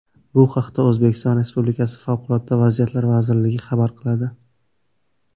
Bu haqda O‘zbekiston Respublikasi Favqulodda vaziyatlar vazirligi xabar qiladi .